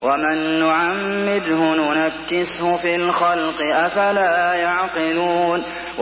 وَمَن نُّعَمِّرْهُ نُنَكِّسْهُ فِي الْخَلْقِ ۖ أَفَلَا يَعْقِلُونَ